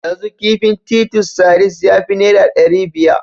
Yanzu kifin titus sardines ya fi naira ɗari biya.